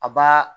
A b'a